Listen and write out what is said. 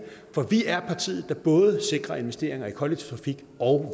for vi er partiet der både sikrer investeringer i kollektiv trafik og